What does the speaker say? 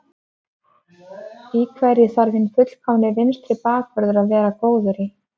Í hverju þarf hinn fullkomni vinstri bakvörður að vera góður í?